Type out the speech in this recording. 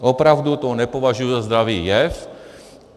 Opravdu to nepovažuji za zdravý jev.